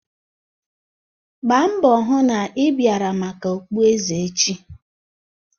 Gbaa mbọ hụ na ị bịara maka okpueze echi